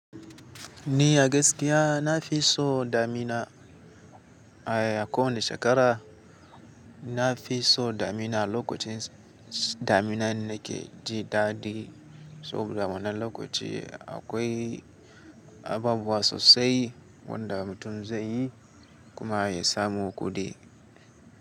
Ni a gaskiya na fi so damina a kowanne shekara. Na fi so damina, lokacin damina na ke ji daɗi. Saboda wannan lokaci akwai abubuwa sosai. Wanda mutum zai yi kuma ya samu kuɗi.